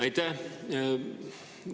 Aitäh!